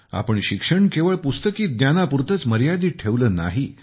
आपण शिक्षण केवळ पुस्तकी ज्ञानापुरतेच मर्यादित ठेवले नाही